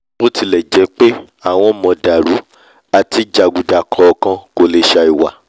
bótilẹ̀jẹ́pé àwọn màndààrú àti jàgùdà kọ̀ọ̀kan ò lè sàì wà